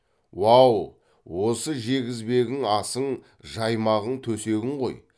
уау осы жегізбегің асың жаймағың төсегің ғой